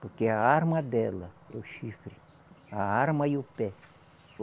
Porque a arma dela, o chifre, a arma e o pé.